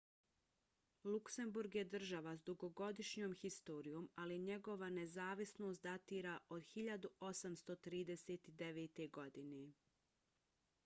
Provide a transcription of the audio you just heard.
luksemburg je država s dugogodišnjom historijom ali njegova nezavisnost datira od 1839. godine